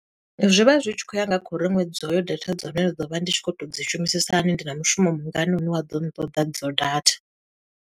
Zwi vha zwi tshi khou ya nga kho uri ṅwedzi uyo data dza hone ndi ḓo vha ndi tshi khou to dzi shumisisa hani, ndi na mushumo mungani une wa ḓo ṱoḓa i dzo data.